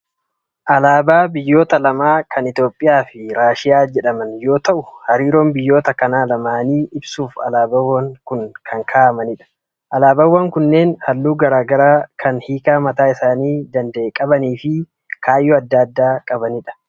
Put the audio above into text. Alaabaa biyyoota lamaa kan Itoophiyaa fi Raashiyaa jedhaman yoo ta'u, hariiroo biyyoota kana lamaanii ibsuuf alaabaawwan kaa'amanidha. Alaabaawwan kunneen halluu gara garaa kan hiikaa mataa isaanii danda'e qabanii fi kaayyoo adda addaa qabanidha.